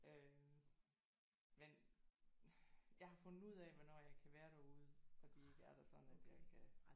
Øh men jeg har fundet ud af hvornår jeg kan være derude og de ikke er der sådan at jeg kan